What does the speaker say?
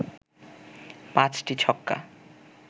৫টি ছক্কা